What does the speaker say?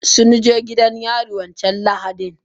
Sunje gidan yarin wancan lahadin.